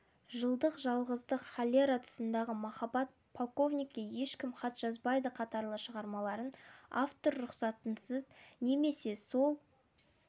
жылдық жалғыздық холера тұсындағы махаббат полковникке ешкім хат жазбайды қатарлы шығармаларын автор рұқсатынсыз немесе сол